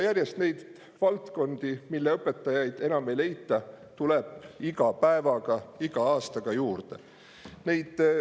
Ja neid valdkondi, mille õpetajaid enam ei leita, tuleb iga päevaga, iga aastaga järjest juurde.